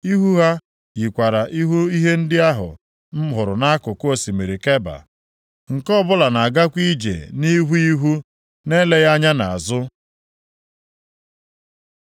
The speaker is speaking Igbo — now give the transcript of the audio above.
Ihu ha yikwara ihu ihe ndị ahụ m hụrụ nʼakụkụ osimiri Keba. Nke ọbụla na-agakwa ije nʼihu ihu na-eleghị anya nʼazụ.